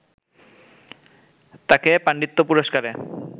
তাকে পাণ্ডিত্য পুরষ্কারে